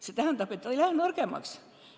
See tähendab, et ta ei lähe nõrgemaks.